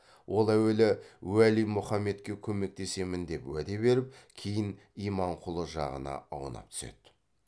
ол әуелі уәли мұхаммедке көмектесемін деп уәде беріп кейін иманқұлы жағына аунап түседі